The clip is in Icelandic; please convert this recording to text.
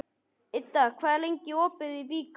Idda, hvað er lengi opið í Byko?